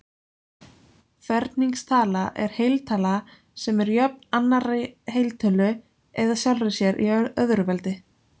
Ferningstala er heiltala sem er jöfn annarri heiltölu eða sjálfri sér í öðru veldi.